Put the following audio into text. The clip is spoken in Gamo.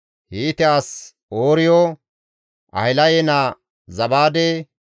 Hiite as Ooriyo, Ahilaye naa Zabaade,